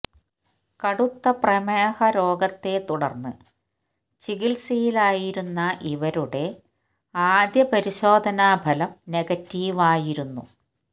കടുത്ത പ്രമേഹ രോഗത്തെ തുടർന്ന് ചികിത്സയിലായിരുന്ന ഇവരുടെ ആദ്യ പരിശോധനാഫലം നെഗറ്റീവ് ആയിരുന്നു